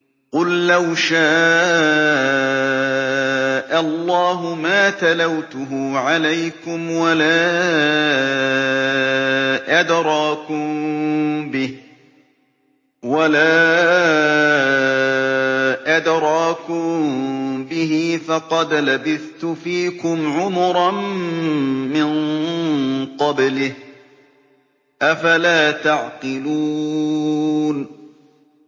قُل لَّوْ شَاءَ اللَّهُ مَا تَلَوْتُهُ عَلَيْكُمْ وَلَا أَدْرَاكُم بِهِ ۖ فَقَدْ لَبِثْتُ فِيكُمْ عُمُرًا مِّن قَبْلِهِ ۚ أَفَلَا تَعْقِلُونَ